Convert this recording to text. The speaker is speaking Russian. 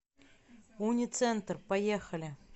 уницентр поехали